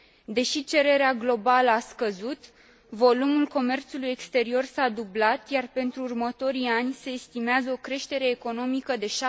Deși cererea globală a scăzut, volumul comerțului exterior s a dublat, iar pentru următorii ani se estimează o creștere economică de